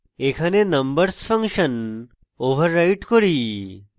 এখানে numbers function override করি